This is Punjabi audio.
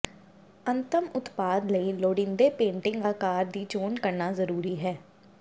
ਅੰਤਮ ਉਤਪਾਦ ਲਈ ਲੋੜੀਂਦੇ ਪੇਂਟਿੰਗ ਆਕਾਰ ਦੀ ਚੋਣ ਕਰਨਾ ਵੀ ਜ਼ਰੂਰੀ ਹੈ